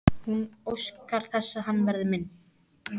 Hún óskar þess að hann verði minn.